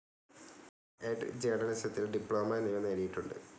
Ed., ജേർണലിസത്തിൽ diploma എന്നിവ നേടിയിട്ടുണ്ട്.